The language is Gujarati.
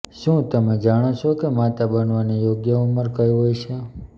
શું તમે જાણો છો કે માતા બનવાની યોગ્ય ઉંમર કઈ હોય છે